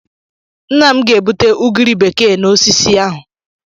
Nna m ga-egbute ugiri bekee n'osisi ahụ.